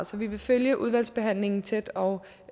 så vi vil følge udvalgsbehandlingen tæt og